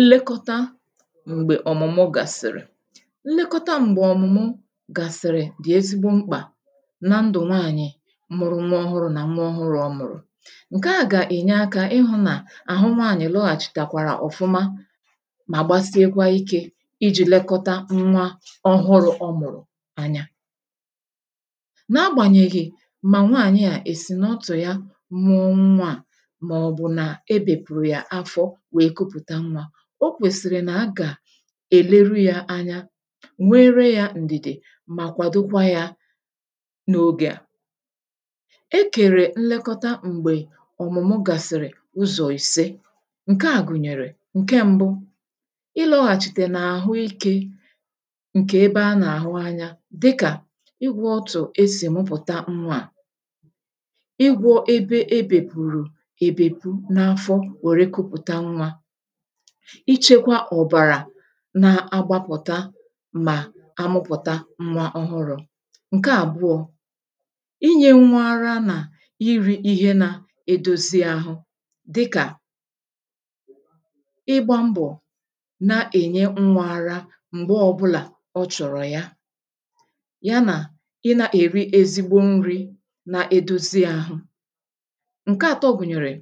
Nlekọta m̀gbè ọ̀mụmụ gàsị̀rị̀: Nlekọta m̀gbè ọ̀mụmụ gàsị̀rị̀ dì ezigbo mkpà na ndụ̀ nwaànyị̀ mụrụ nwa ọhụrụ̇ nà nwa ọhụrụ̇ ọ mụ̀rụ̀. Nke à gà-ènye akȧ ịhụ̇ nà àhụ nwaànyị̀ lọghàchì tàkwàrà ọ̀fụma mà gbasiekwa ikė iji̇ lekọta nwa ọhụrụ̇ ọmụ̀rụ̀ anya. Na agbànyèghì mà nwaanyị̀ a èsì na ọtụ̀ ya mụọ nwaà ma obu na-ebepuru ya afo nwee kuputa nwa. O kwèsìrì nà a gà-èleru ya anya, nwee ree ya ǹdìdì mà kwàdụgwa ya n’ogè a. E kèrè nlekọta m̀gbè ọ̀mụ̀mụ gasị̀rị̀ ụzọ̀ ìse ǹke a gụ̀nyèrè; Nke m̀bu, ị lọ̀ghàchite n’àhụikė ǹkè ebe a n’àhụ anya dịkà igwȯ ọtụ̀ e sì mụpụ̀ta nwȧ a, ịgwȯ ebe ebèpụ̀rụ̀ ebèpụ n’afọ nwèrè kuputa nwa, ichekwa ọ̀bàrà na-agbapụta mà àmụpụ̀ta nwa ọhụrụ.̇ Nke àbụọ,̇ inye nwa ara nà iri ihe nȧ-edozi àhụ dịkà ịgba mbọ̀ na-ènye nwa ara m̀gbe ọbụlà ọ chọ̀rọ̀ ya, ya nà ị nà-èri ezigbo nri na-edozi àhụ. Nke àtọ gụ̀nyèrè,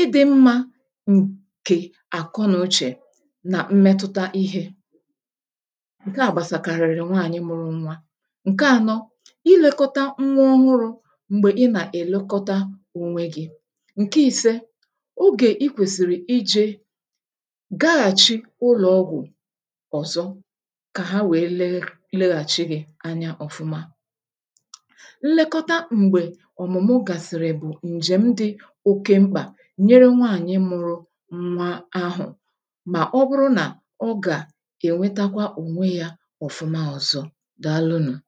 idi nma nke akonuche na m metụtà Ihe, nke à gbasàkàrị̀rị̀ nwaànyị mụrụ nwa. Nke ȧnọ,̇ i lėkọta nwa ọhụrụ̇ m̀gbè i nà-èlekọta onwe gi.̇ Nke i̇sė, ogè i kwèsìrì iji̇ gaghàchi ụlọ̀ ọgwụ̀ ọ̀zọ kà ha wèe lee leghàchi gi anya ọ̀fụma. Nlekọta m̀gbè ọ̀mụ̀mụ gàsìrì bụ̀ ǹjèm dị oke mkpà nyėre nwaànyị̀ mụrụ nwa ahụ, mà ọ bụrụ nà ọ gà ènwetakwa ònwe yȧ ọ̀fụma ọzọ. Dàalụ nụ̀!